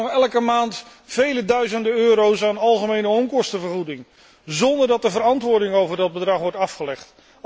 Wij krijgen nog elke maand vele duizenden euro's aan algemene onkostenvergoeding zonder dat er verantwoording over dat bedrag wordt afgelegd.